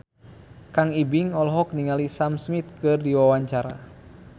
Kang Ibing olohok ningali Sam Smith keur diwawancara